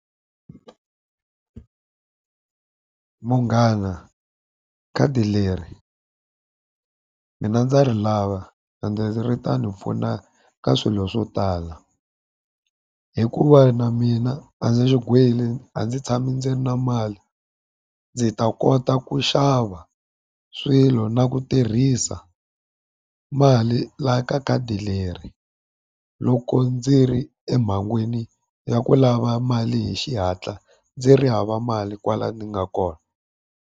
Munghana khadi leri mina ndza ri lava ri ta ni pfuna ka swilo swo tala. Hikuva na mina a ndzi swigwili a ndzi tshama ndzi ri na mali, ndzi ta kota ku xava swilo na ku tirhisa mali laha ka khadi leri loko ndzi ri emhangwini ya ku lava mali hi xihatla ndzi ri hava mali kwala ndzi nga kona.